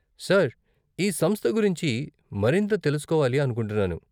Sir, ఈ సంస్థ గురించి మరింత తెలుసుకోవాలి అనుకుంటున్నాను.